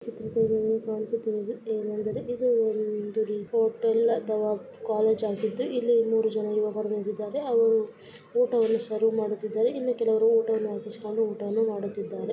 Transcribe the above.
ಚಿತ್ರದಲ್ಲಿ ಕಾಣಿಸುತ್ತಿರುವುದು ಏನೆಂದರೆ ಇದು ಒಂದು ರಿಪೋರ್ಟ್ ಅಲ್ಲ ಅಥವಾ ಕಾಲೇಜ್ ಆಗಿದ್ದು ಇಲ್ಲಿ ಮೂರು ಯುವಕರು ಹೇಗಿದ್ದಾರೆ ಅವರು ಊಟವನ್ನು ಸರ್ವ್ ಮಾಡುತ್ತಿದ್ದಾರೆ ಇನ್ನೂ ಕೆಲವರು ಊಟವನ್ನು ಆಕಿಸಿಕೊಂಡು ಊಟವನ್ನು ಮಾಡುತ್ತಿದ್ದಾರೆ